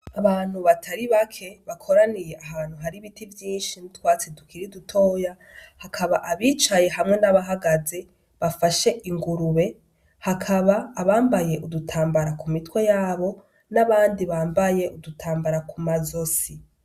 Abantu batari bake bakoraniye ahantu hari ibiti vyinshi n'utwatsi dukuri dutoya, hakaba abicaye hamwe n'abahagaze bafashe ingurube, hakaba abambaye udutambara ku mitwe yabo n'abandi bambaye udutambara ku mazosi.